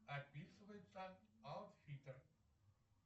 описывается аутфитер